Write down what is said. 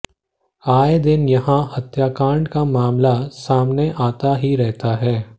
आए दिन यहां हत्याकांड का मामला सामने आता ही रहता है